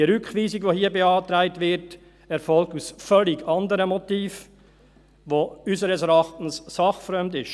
Die Rückweisung, die hier beantragt wird, erfolgt aus völlig anderen Motiven, die unseres Erachtens sachfremd sind.